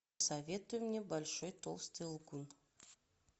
посоветуй мне большой толстый лгун